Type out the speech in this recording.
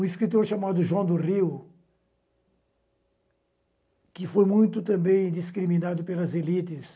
Um escritor chamado João do Rio, que foi muito também discriminado pelas elites,